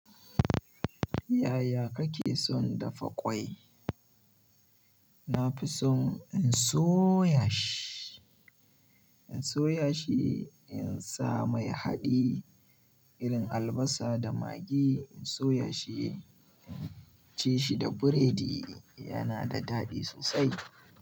Yaya kake son dafa ƙwai? Na fi son in soya in soya shi, in soya shi, in sa mai haɗi, irin albasa da magi in soya shi, in ci shi da burodi yana da daɗi sosai.